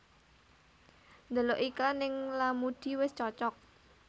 Ndelok iklan ning Lamudi wis cocok